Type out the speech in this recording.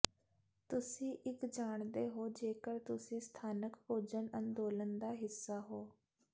ਤੁਸੀਂ ਇੱਕ ਜਾਣਦੇ ਹੋ ਜੇਕਰ ਤੁਸੀਂ ਸਥਾਨਕ ਭੋਜਨ ਅੰਦੋਲਨ ਦਾ ਹਿੱਸਾ ਹੋ